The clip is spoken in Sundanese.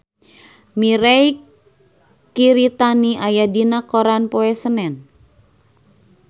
Mirei Kiritani aya dina koran poe Senen